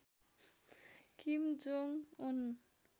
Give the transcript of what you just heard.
किम Jong उन